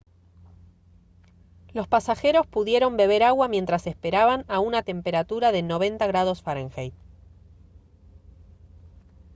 los pasajeros pudieron beber agua mientras esperaban a una temperatura de 90 °f